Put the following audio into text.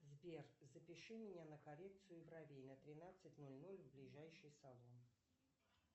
сбер запиши меня на коррекцию бровей на тринадцать ноль ноль в ближайший салон